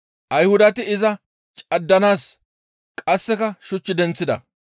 Ayhudati iza caddanaas qasseka shuch denththida.